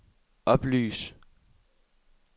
oplys